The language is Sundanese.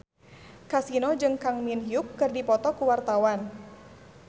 Kasino jeung Kang Min Hyuk keur dipoto ku wartawan